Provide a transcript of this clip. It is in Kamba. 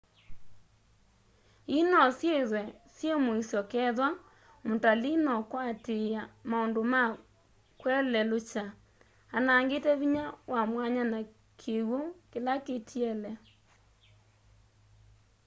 ii nosyithwe syi muisyo kethwa mutalii nokwatiia maundu ma kwelelukya anangite vinya wa mwanya na kiwu kila kitiele